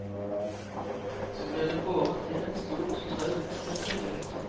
Så blir det båret inn et stort trau, fullt av kjøtt.